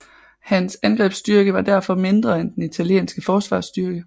Hans angrebsstyrke var derfor mindre end den italienske forsvarsstyrke